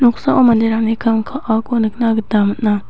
noksao manderangni kam kaako nikna gita man·a.